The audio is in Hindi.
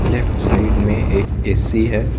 लेफ्ट साइड में एक ऐ_सी है।